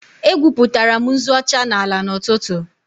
Egwupụtara m nzu ọcha n'ala n'ụtụtụ